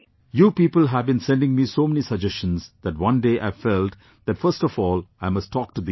You people have been sending me so many suggestions that one day I felt that first of all I must talk to these people